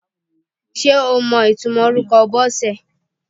Ṣé o mọ ìtumò orúkọ Bọ́sẹ̀?